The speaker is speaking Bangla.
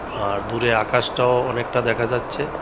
আর দূরে আকাশটাও অনেকটা দেখা যাচ্ছে।